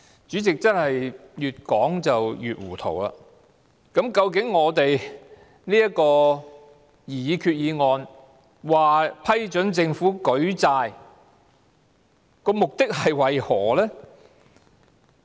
主席，政府真是越說越糊塗，究竟這項擬議決議案批准政府舉債的目的為何？